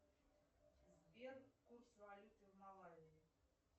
сбер курс валюты в малавии